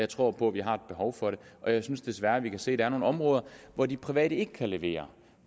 tror på at vi har et behov for det og jeg synes desværre vi kan se der er nogle områder hvor de private ikke kan levere